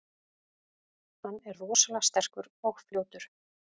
Hann er rosalega sterkur og fljótur.